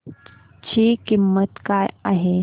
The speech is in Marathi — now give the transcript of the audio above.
ची किंमत काय आहे